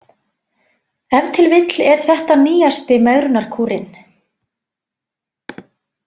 Ef til vill er þetta nýjasti megrunarkúrinn